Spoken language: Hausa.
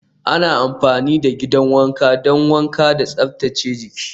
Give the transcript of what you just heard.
Ana amfani da gidan wanka don wanka da tsaftace jiki.